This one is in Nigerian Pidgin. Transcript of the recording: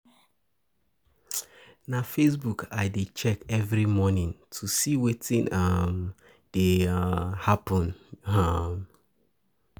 Na Facebook I dey check every morning to see wetin um dey um happen. um